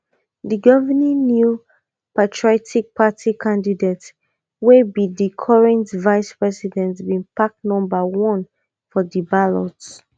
di governing new patriotic party candidate wey be di current vice president bin pick number one for di ballot